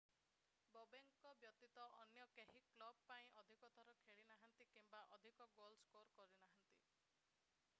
ବୋବେକଙ୍କ ବ୍ୟତୀତ ଅନ୍ୟ କେହି କ୍ଲବ ପାଇଁ ଅଧିକ ଥର ଖେଳି ନାହାନ୍ତି କିମ୍ବା ଅଧିକ ଗୋଲ ସ୍କୋର କରିନାହାନ୍ତି